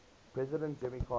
president jimmy carter